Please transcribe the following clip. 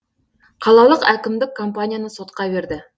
қалалық әкімдік компанияны сотқа берді